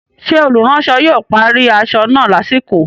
Ṣé olùránsọ yóò parí aṣọ náà lásìkò?